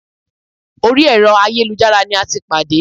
Orí ẹ̀rọ ayélujára ní a tí pàdé.